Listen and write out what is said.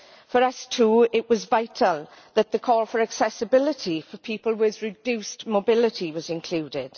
For us too, it was vital that the call for accessibility for people with reduced mobility was included.